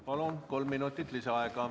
Palun, kolm minutit lisaaega.